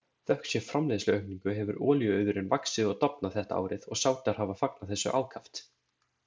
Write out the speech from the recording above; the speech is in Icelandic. Þökk sé framleiðsluaukningu hefur olíuauðurinn vaxið og dafnað þetta árið og Sádar hafa fagnað þessu ákaft.